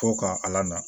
Fo ka ala na